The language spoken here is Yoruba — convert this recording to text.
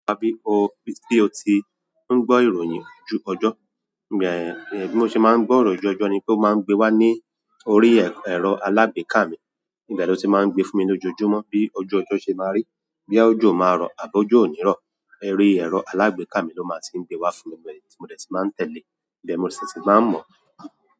Bí ó ti ń gbọ́ ìròyìn ojú ọjọ́, bí mo ṣe máa ń gbọ́ ìròyìn ojú ọjọ́ ni pé ó máa ń gbé wá ní orí ẹ̀rọ alágbèéká mi. Ibẹ́ ló ti máa ń gbé fún mi lójoojúmọ́ bí ojú ọjọ́ ṣe máa rí, boya ọjọ́ máa rọ̀ àbí ojo o nírọ̀. Eri ẹ̀rọ alágbèéká mi ló máa ti ń gbé wá fún mi, mo dè si máa ń tẹ̀lé, ibẹ̀ mo sì ti máa ń mọ̀.